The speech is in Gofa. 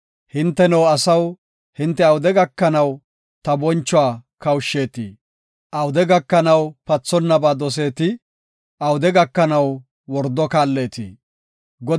Hinteno asaw, hinte awude gakanaw ta bonchuwa kawushsheetii? Awude gakanaw pathonnaba doseetii? Awude gakanaw wordo kaalleetii? Salah